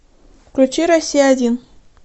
включи россия один